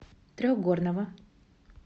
трехгорного